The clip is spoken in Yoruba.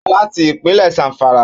Ó wá láti ìpínlẹ̀ Zamfara